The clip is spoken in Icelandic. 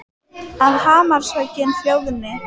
Að hamarshöggin hljóðni.